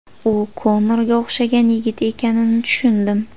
U Konorga o‘xshagan yigit ekanini tushundim.